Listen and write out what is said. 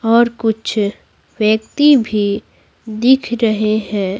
और कुछ व्यक्ति भी दिख रहे हैं।